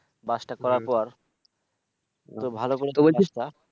bus টা করার পর